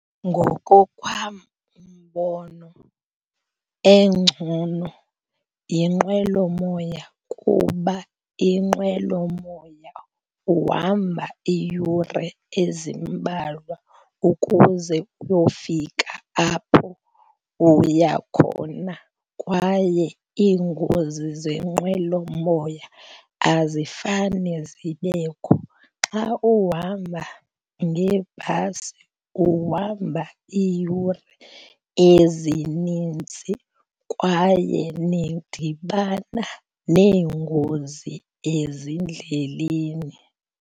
Ngokowam umbono engcono yenqwelomoya kuba inqwelomoya uhamba iiyure ezimbalwa ukuze uyofika apho uya khona kwaye iingozi zenqwelomoya azifane zibekho. Xa uhamba ngebhasi uhamba iiyure ezininzi kwaye nidibana neengozi ezindleleni.